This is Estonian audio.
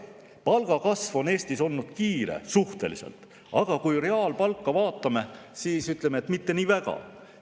Palgakasv on Eestis olnud suhteliselt kiire, aga kui me reaalpalka vaatame, siis tuleb öelda, et mitte nii väga kiire.